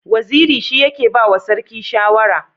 Waziri shi yake ba wa sarki shawara.